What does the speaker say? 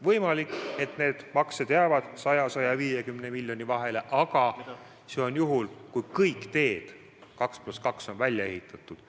Võimalik, et need maksed jäävad 100–150 miljoni vahele, aga see on juhul, kui kõik 2 + 2 teed on välja ehitatud.